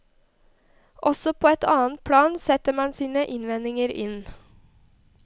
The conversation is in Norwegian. Også på et annet plan setter man sine innvendinger inn.